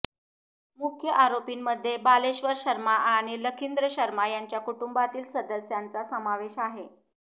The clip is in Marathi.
मुख्य आरोपींमध्ये बालेश्वर शर्मा आणि लखिंद्र शर्मा यांच्या कुटुंबातील सदस्याचा समावेश आहे